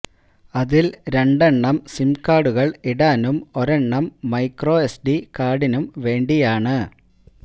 അതില് രണ്ടെണ്ണം സിം കാര്ഡുകള് ഇടാനും ഒരെണ്ണം മൈക്രോ എസ്ഡി കാര്ഡിനും വേണ്ടിയാണ്